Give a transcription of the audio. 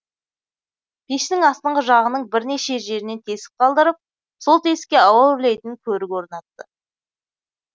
пештің астыңғы жағының бірнеше жерінен тесік қалдырып сол тесікке ауа үрлейтін көрік орнатты